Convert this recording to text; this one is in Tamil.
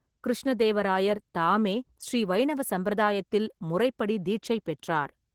கிருஷ்ண தேவராயர் தாமே ஸ்ரீ வைணவ சம்பிரதாயத்தில் முறைப்படி தீட்சை பெற்றார்.